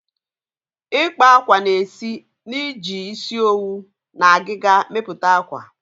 Ikpa akwa na esi na-iji isi owu na agịga mepụta akwa.